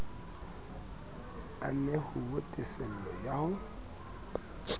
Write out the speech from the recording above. a nehuwe tesello ya ho